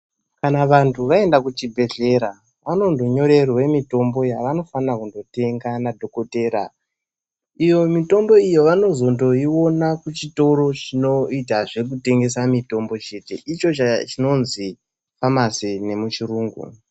Kana vantu vaenda kuchibhedhlera vanondonyorerwa mitombo yavanofana kundotenga nadhokoteya iyo mitombo iyo vanozondoiona kuchitoro chinoita zvekutengesa mitombo chete icho chinonzi famasi nemuchirungu.